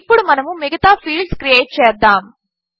ఇప్పుడు మనము మిగతా ఫీల్డ్స్ క్రియేట్ చేద్దాము